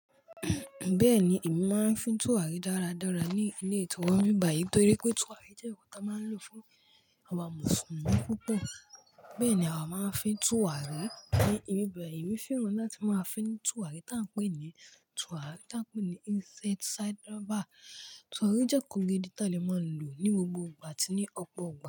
Bẹ́ẹ̀ni, èmi máa ń fi túrarí dáradára ní ilé tiwa nbi báyìí nítorí pé túràrí jẹ́ ǹkan tí a máa ń lò fún awa mùsùlùmí púpọ̀. Bẹ́ẹ̀ ni a máa ń fi túràrí ní ibi báyìí. Èmi fẹ́ràn láti máa fín túràrí tá ń pè ní túràrí tá ń pè ní inside side over. Tùràrí jẹ́ nkan gídì tá lè máa lò ní gbogbo ìgbà àti ní ọ̀pọ̀ ìgbà.